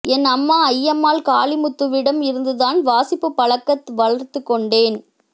என் அம்மா அய்யம்மாள் காளிமுத்துவிடம் இருந்துதான் வாசிப்புப் பழக்கத் வளர்த்துக்கொண்டேன்